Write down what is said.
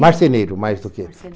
Marceneiro, mais do que.